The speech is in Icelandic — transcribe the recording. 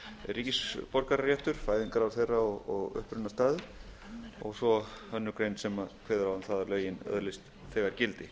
ríkisborgararéttur fæðingarár þeirra og upprunastaður og svo aðra grein sem kveður á um það að lögin öðlist þegar gildi